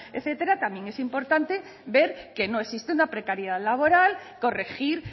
etcétera también es importante ver que no existe una precariedad laboral corregir